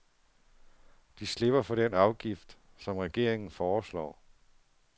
De slipper for den afgift, som regeringen foreslår.